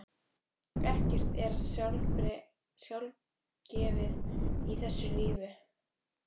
Ekkert er sjálfgefið í þessu lífi.